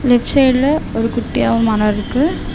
Left சைட்ல ஒரு குட்டியா ஒரு மரம் இருக்கு.